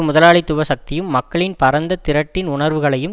முதலாளித்துவ சக்தியும் மக்களின் பரந்த திரட்டின் உணர்வுகளையும்